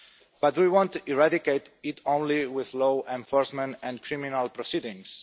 But do we want to eradicate it only with law enforcement and criminal proceedings?